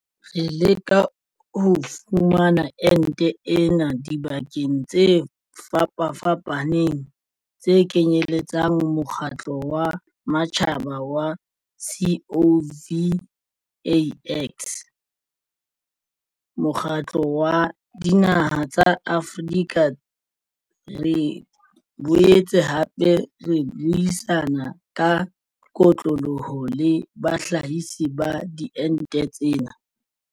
Re leka ho fumana ente ena dibakeng tse fapafapaneng tse kenyeletsang mokgatlo wa matjhaba wa COVAX, Mokgatlong wa Dinaha tsa Afrika re boetse hape re buisana ka kotloloho le bahlahisi ba diente tsena.